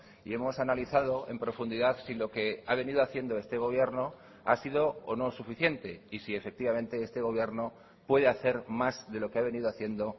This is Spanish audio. y hemos analizado en profundidad si lo que ha venido haciendo este gobierno ha sido o no suficiente y si efectivamente este gobierno puede hacer más de lo que ha venido haciendo